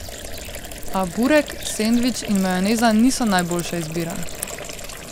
A burek, sendvič in majoneza niso najboljša izbira.